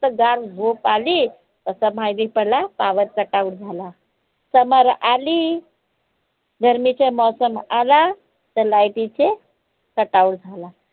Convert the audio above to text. मस्त गार झोप आली तसा माहिती पडला power cut out झाला. summer आली गर्मीचा मोसम आला का light टी चे cut out झाला